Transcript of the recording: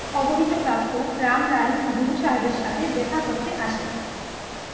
গুরু সাহেবের সাথে দ্যাখা করতে আসেন